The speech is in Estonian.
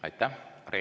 Aitäh!